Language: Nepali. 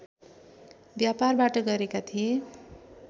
व्यापारबाट गरेका थिए